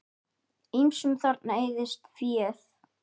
Ýmsum þarna eyðist féð.